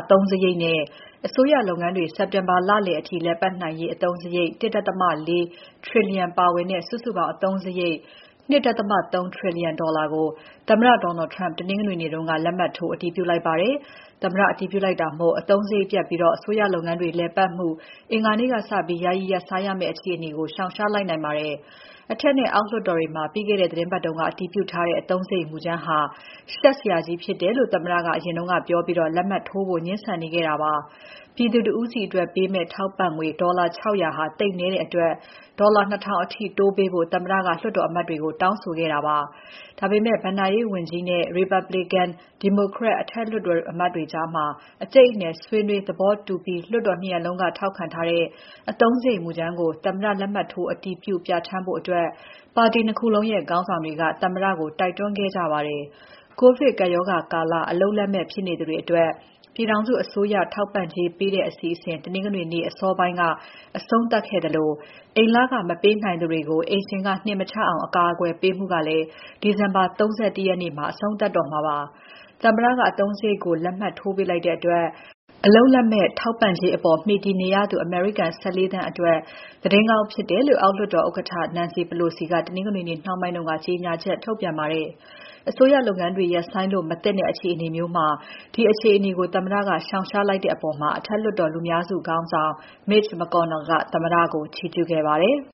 အသုံးစရိတ်နဲ့ အစိုးရလုပ်ငန်းတွေ စက်တင်ဘာလအထိ လည်ပါတ်နိုင်နိုင်ရေးအသုံးစရိတ် ၁.၄ trillion ပါဝင်တဲ့ စုစုပေါင်း အစိုးရ အသုံးစရိတ် ၂.၃ ထရီလီယံကို သမ္မတ Donald Trump တနင်္ဂနွေနေ့က လက်မှတ်ထိုးအတည်ပြုလိုက်ပါတယ်။ သမ္မတ အတည်ပြုလိုက်တာမို့ အသုံးစရိတ်ပြတ်ပြီး အစိုးရလုပ်ငန်းတွေ လည်ပတ်မှု အင်္ဂါနေ့ကစပြီး ယာယီရပ်ဆိုင်းရမယ့် အခြေအနေကို ရှောင်ရှားလိုက်နိုင်ပါတယ်။ အထက်နဲ့ အောက်လွှတ်တော်တွေမှာ ပြီးခဲ့တဲ့ သီတင်းပတ်က အတည်ပြုထားတဲ့ အသုံးစရိတ်မူကြမ်းဟာ ရှက်စရာကြီးဖြစ်တယ်လို့ သမ္မတက အရင်ကပြောပြီး လက်မှတ်ထိုးဖို့ ငြင်းဆန်နေခဲ့တာပါ။ ပြည်သူတဦးစီအတွက်ပေးမယ့် ထောက်ပံ့ငွေ ဒေါ်လာ ၆၀၀ ဟာ သိပ်နည်းတဲ့အတွက် ဒေါ်လာ ၂,၀၀၀ အထိ တိုးပေးဖို့ သမ္မတက လွှတ်တော်အမတ်တွေကို တောင်းဆိုခဲ့ပါတယ်။ ဒါပေမဲ့ ဘဏ္ဍာရေးဝန်ကြီးနဲ့ Republican နဲ့ Democrat လွှတ်တော်အမတ်တွေကြား အကြိတ်အနယ်ဆွေးနွေး သဘောတူပြီး လွှတ်တော် ၂ ရပ်လုံးက ထောက်ခံထားတဲ့ အသုံးစရိတ်မူကြမ်းကို သမ္မတ လက်မှတ်ထိုး အတည်ပြု ပြဌာန်းဖို့ ပါတီ ၂ ခုလုံးရဲ့ ခေါင်းဆောင်တွေက သမ္မတကို တိုက်တွန်းခဲ့ကြပါတယ်။ ကိုဗစ်ကပ်ရောဂါကာလ အလုပ်လက်မဲ့ဖြစ်သူတွေအတွက် ပြည်ထောင်စုအစိုးရ ထောက်ပံ့ကြေးပေးတဲ့အစီအစဉ် တနင်္ဂနွေနေ့ အစောပိုင်း အဆုံးသတ်ခဲ့သလို၊ အိမ်လခမပေးနိုင်သူတွေကို အိမ်ရှင်က နှင်မချအောင် အကာအကွယ်ပေးမှုကလည်း ဒီဇင်ဘာ ၃၁ ရက်မှာ အဆုံးသတ်တော့မှာပါ။ သမ္မတက အသုံးစရိတ်ကို လက်မှတ်ထိုးပေးလိုက်တဲ့အတွက် အလုပ်လက်မဲ့ ထောက်ပံ့ကြေးအပေါ် မှီတည်နေရသူ အမေရိကန် ၁၄ သန်းအတွက် သတင်းကောင်းဖြစ်တယ်လို့ အောက်လွှတ်တော် ဥက္ကဋ္ဌ Nancy Pelosi က တနင်္ဂနွေနေ့ နှောင်းပိုင်းက ကြေညာချက်ထုတ်ပြန်ပါတယ်။ အစိုးရလုပ်ငန်းတွေ ရပ်ဆိုင်းလို့မသင့်တဲ့ အခြေအနေမျိုးမှာ ဒီအခြေအနေကို သမ္မတက ရှောင်ရှားလိုက်တဲ့အပေါ် အထက်လွှတ်တော်လူများစုခေါင်းဆောင် Mitch McConnell ကသမ္မတကို ချီးကျူးခဲ့ပါတယ်။